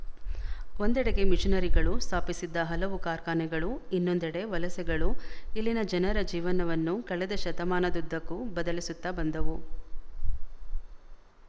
ಒಂದೆಡೆಗೆ ಮಿಶನರಿಗಳು ಸ್ಥಾಪಿಸಿದ್ದ ಹಲವು ಕಾರ್ಖಾನೆಗಳು ಇನ್ನೊಂದೆಡೆ ವಲಸೆಗಳು ಇಲ್ಲಿನ ಜನರ ಜೀವನವನ್ನು ಕಳೆದ ಶತಮಾನದುದ್ದಕ್ಕೂ ಬದಲಿಸುತ್ತಾ ಬಂದವು